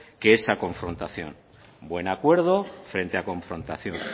que esa confrontación buen acuerdo frente a confrontación